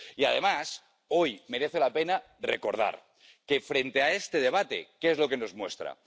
Y, además, hoy merece la pena recordar que, este debate, ¿qué es lo que nos muestra?